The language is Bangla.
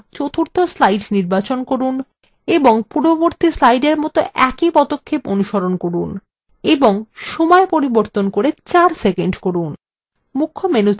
এবার চতুর্থ slide নির্বাচন করুন এবং পূর্ববর্তী slide মতো একই পদক্ষেপ অনুসরণ করুন এবং সময় পরিবর্তন করে ৪ সেকন্ড করুন